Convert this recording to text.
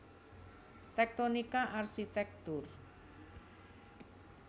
Tektonika Arsitektur